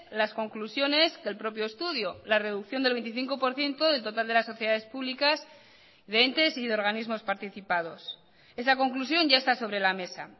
las conclusiones que el propio estudio la reducción del veinticinco por ciento del total de las sociedades públicas de entes y de organismos participados esa conclusión ya está sobre la mesa